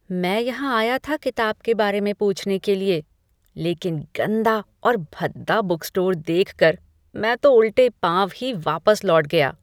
मैं यहाँ आया था किताब के बारे में पूछने के लिए, लेकिन गंदा और भद्दा बुक स्टोर देखकर, मैं तो उल्टे पाँव ही वापस लौट गया।